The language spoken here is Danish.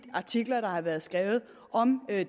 artikler der har været skrevet om